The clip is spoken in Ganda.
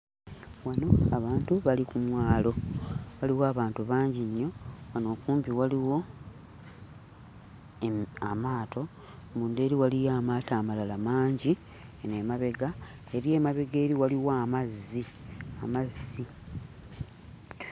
Wano abantu bali ku mwalo, waliwo abantu bangi nnyo. Wano okumpi waliwo emu amaato, munda eri waliyo amaato amalala mangi eno emabega. Eri emabega eri waliwo amazzi amazzi.